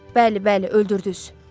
Bəli, bəli, öldürdüz.